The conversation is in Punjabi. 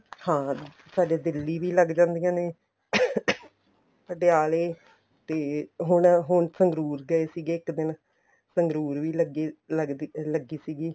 ਹਾਂ ਸਾਡੇ ਦਿੱਲੀ ਵੀ ਲੱਗ ਜਾਂਦੀਆਂ ਨੇ ਪਟਿਆਲੇ ਤੇ ਹੁਣ ਹੁਣ ਸੰਗਰੂਰ ਗਏ ਸੀਗੇ ਇੱਕ ਦਿਨ ਸੰਗਰੂਰ ਵੀ ਲੱਗੀ ਸੀਗੀ